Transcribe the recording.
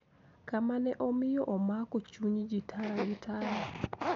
Kama ne omiyo omako chuny ji tara gi tara